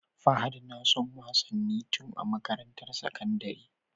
Fahad nason wasanin tun a makarantar sakandari